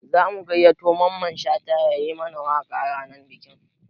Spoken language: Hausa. Za mu gayyato Mamman Shata ya yi mana waƙa ranar bikin